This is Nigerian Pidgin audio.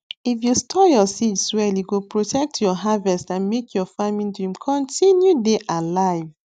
if you store your seeds well e go protect your harvest and make your farming dream continue dey alive